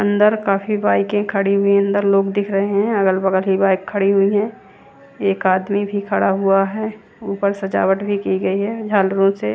अंदर काफी बाइके खड़ी हुई है अंदर लोग दिख रहे है अगल बगल की बाइक खाड़ी हुई है एक आदमी भी खड़ा हुआ है ऊपर सजावट भी की गई है ज़हालरो से --